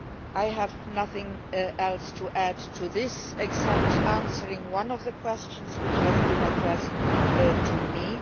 I have nothing else to add to this except answering one of the questions which has been addressed to me.